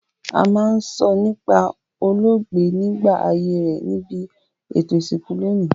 A ma n sọ nípá olóògbé nígbà ayé rẹ nibi ètò ìsìnkú loní